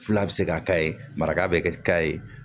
Fila bɛ se ka ka ye maraka bɛ kɛ ka ye